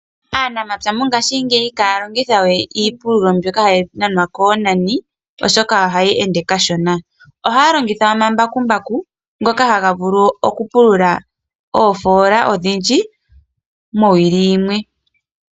Aanamapya mongashingeyi ihaya longithawe iipululo mbyoka hayi nanwa konani oshoka ohayi ende kashona. Ohaya longitha omambakumbaku ngoka haga vulu oku pulula oofola odhindji mowili yimwe.